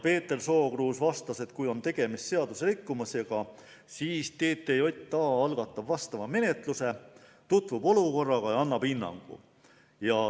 Peeter Sookruus vastas, et kui on tegemist seaduserikkumisega, siis TTJA algatab vastava menetluse, tutvub olukorraga ja annab hinnangu.